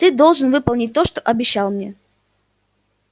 ты должен выполнить то что обещал мне